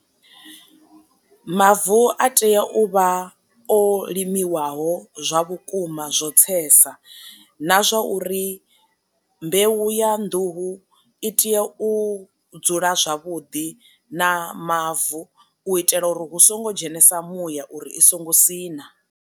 Mavu a tea u vha o limiwaho zwa vhukuma zwo tsesa, na zwa uri mbeu ya nḓuhu i tea u dzula zwavhuḓi na mavu u itela uri hu songo dzhenisa muya uri i songo siṋa.